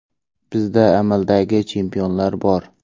Bizda amaldagi chempionlar bor.